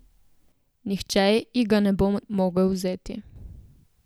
Nihče ji ga ne bo mogel vzeti.